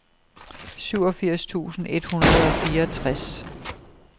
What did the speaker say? syvogfirs tusind et hundrede og fireogtres